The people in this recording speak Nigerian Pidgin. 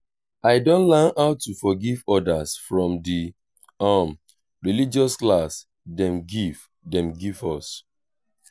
i don learn how to forgive others from di um religious class dem give dem give us.